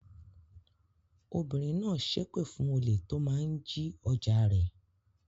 Obìnrin náà ṣépè fún olè tó máa ń jí ọjà rẹ̀.